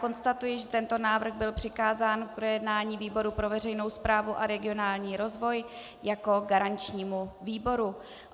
Konstatuji, že tento návrh byl přikázán k projednání výboru pro veřejnou správu a regionální rozvoj jako garančnímu výboru.